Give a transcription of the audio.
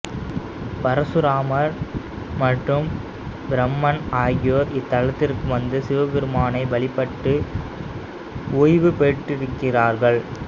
பரசுராமர் மற்றும் பிரம்மன் ஆகியோர் இத்தலத்திற்கு வந்து சிவபெருமானை வழிபட்டு உய்வுபெற்றிருக்கிறார்கள்